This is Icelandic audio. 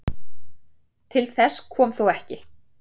Til þess kom þó ekki